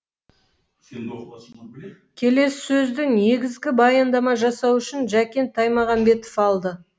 келесі сөзді негізгі баяндама жасау үшін жәкен таймағанбетов алды